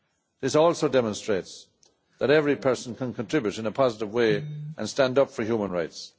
This also demonstrates that every person can contribute in a positive way and stand up for human rights.